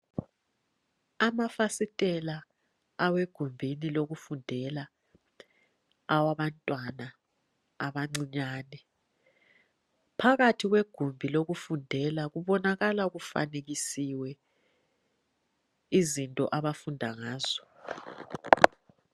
Amafasitela awegumbeni lokufundela awabantwana abancinyana phakathi kwegumbi lokufundela kubonakala kufanekisiwe izinto abafunda ngazo